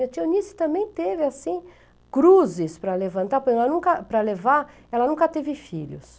Minha tia Eunice também teve assim, cruzes para levantar, para ela nunca, para levar, ela nunca teve filhos.